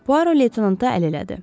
Poaro leytenanta əl elədi.